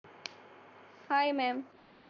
हाय ma'am